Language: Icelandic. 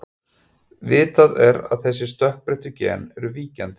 Vitað er að þessi stökkbreyttu gen eru víkjandi.